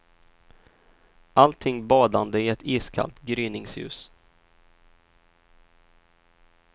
Allting badande i ett iskallt gryningsljus.